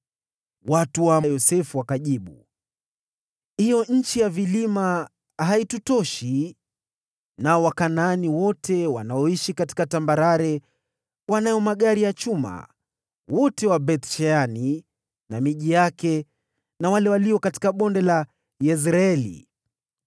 Watu wa Yosefu wakajibu, “Hiyo nchi ya vilima haitutoshi, nao Wakanaani wote wanaoishi katika tambarare wanayo magari ya vita ya chuma, wote wa Beth-Shani na miji yake, na wale walio katika Bonde la Yezreeli.”